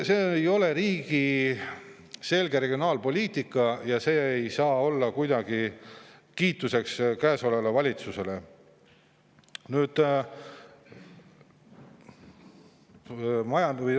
See ei ole selge regionaalpoliitika ja selle eest ei saa praegust valitsust kuidagi kiita.